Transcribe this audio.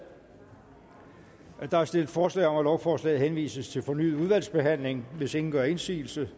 der er stillet forslag om at lovforslaget henvises til fornyet udvalgsbehandling hvis ingen gør indsigelse